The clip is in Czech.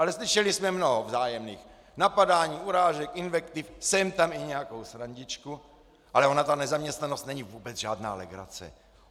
Ale slyšeli jsme mnoho vzájemných napadání, urážek, invektiv, sem tam i nějakou srandičku, ale ona ta nezaměstnanost není vůbec žádná legrace.